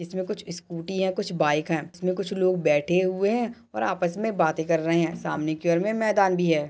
इसमे कुछ इस्कूटी है कुछ बाइक है इसमे कुछ लोग बैठे हुए है और आपस मे बातें कर रहे है सामने की और मैदान भी है।